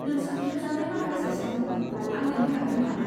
नोंसोर खेबजानाय माखासे सावमुफोरखौ आं नायनो हागोन नामा?